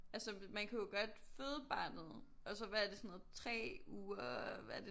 Altså man kan jo godt føde barnet og så hvad er det sådan noget 3 uger hvad er det